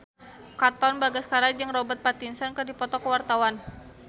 Katon Bagaskara jeung Robert Pattinson keur dipoto ku wartawan